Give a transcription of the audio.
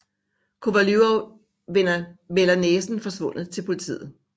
Kovalyov melder næsen forsvundet til politiet